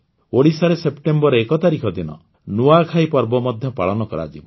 ଓଡ଼ିଶାରେ ସେପ୍ଟେମ୍ବର ୧ ତାରିଖ ଦିନ ନୂଆଖାଇ ପର୍ବ ମଧ୍ୟ ପାଳନ କରାଯିବ